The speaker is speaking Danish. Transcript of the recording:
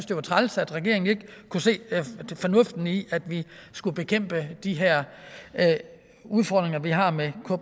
det var træls at regeringen ikke kunne se fornuften i at vi skulle bekæmpe de her udfordringer vi har med